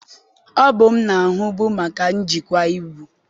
Ọ bụ m na-ahụbu maka njikwa ibu.